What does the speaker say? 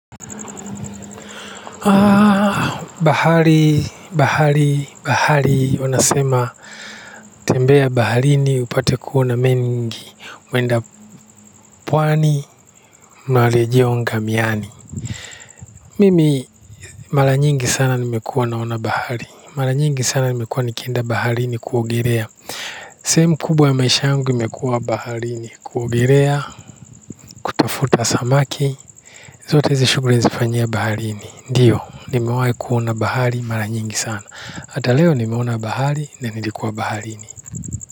Bahari bahari bahari unasema tembea baharini upate kuona mengi mwenda pwani marejeleo ngamiani mimi mara nyingi sana nimekuwa naona bahari mara nyingi sana nimekuwa nikienda baharini kuogelea sehemu kubwa ya maisha yangu imekuwa baharini kuogelea natafuta samaki, zote hizi shughuli nazifanyia baharini. Ndiyo, nimewahi kuona bahari mara nyingi sana. Hata leo nimeona bahari na nilikuwa baharini.